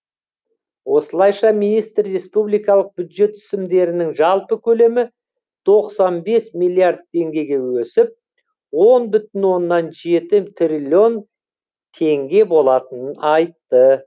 осылайша министр республикалық бюджет түсімдерінің жалпы көлемі тоқсан бес миллиард теңгеге өсіп он бүтін оннан жеті триллион теңге болатынын айтты